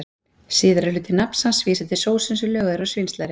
Síðari hluti nafns hans vísar til sósu sem löguð er úr svínslæri.